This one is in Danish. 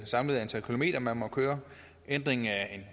samlede antal kilometer man må køre ændring af